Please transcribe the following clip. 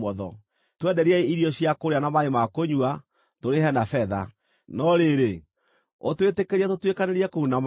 Twenderiei irio cia kũrĩa na maaĩ ma kũnyua, tũrĩhe na betha. No rĩrĩ, ũtwĩtĩkĩrie tũtuĩkanĩrie kũu na magũrũ,